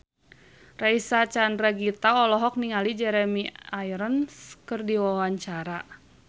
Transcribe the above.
Reysa Chandragitta olohok ningali Jeremy Irons keur diwawancara